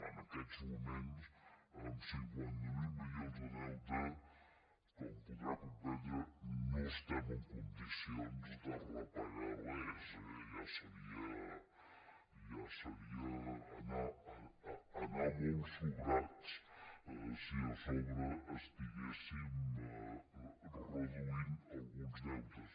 en aquests moments amb cinquanta miler milions de deute com podrà comprendre no estem en condicions de repagar res eh ja seria anar molt sobrats si a sobre reduíssim alguns deutes